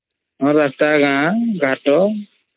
ରାସ୍ତା ଗାଁ ଘାଟ